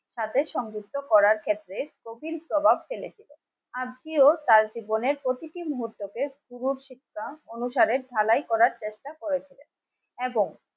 তাদের সংযুক্ত করার ক্ষেত্রে নোটিশ জবাব দেবে. আজকেও তার জীবনের প্রতিটি মুহূর্তকে অনুসারে ঢালাই করার চেষ্টা করেছে. এবং